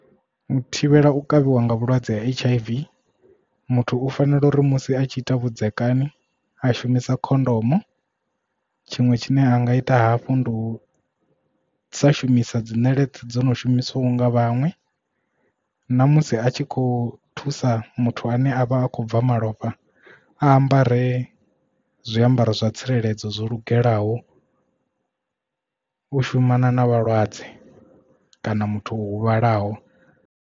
U thivhela u kavhiwa nga vhulwadze ha H_I_V muthu u fanela uri musi a tshi ita vhudzekani a shumisa khondomo tshiṅwe tshine a nga ita hafhu ndi u sa shumisa dzi ṋeleṱe dzo no shumisiwaho nga vhaṅwe ṋamusi a tshi kho thusa muthu ane a vha a khou bva malofha a ambare zwiambaro zwa tsireledzo zwo lugelaho u shumana na vhalwadze kana muthu o huvhalaho.